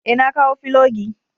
Ee, na kawo filogi.